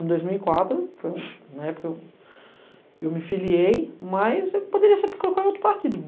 Em dois mil e quatro, na época eu me filiei, mas eu poderia ser porque eu coloquei outro partido.